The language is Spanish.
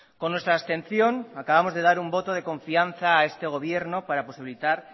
con nuestra abstención acabamos de dar un voto de confianza a este gobierno para posibilitar